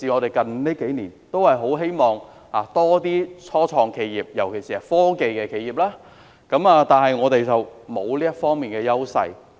最近幾年，我們都很希望香港有多些初創企業，尤其是科技企業，但我們沒有這方面的優勢。